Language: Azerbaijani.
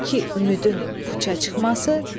İki, ümidin puça çıxması.